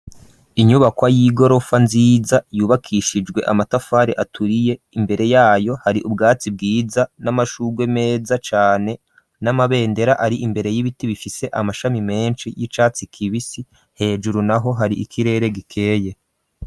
Inyubakwa y'igorofa, nziza, yubakishijwe amatafari aturiye; imbere yayo, hari ubwatsi bwiza, n'amashurwe meza cane, n'amabendera, ari imbere y'ibiti, bifise amashami menshi, y'icatsi kibisi; hejuru naho, hari ikirere gikeye.